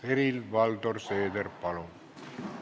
Helir-Valdor Seeder, palun!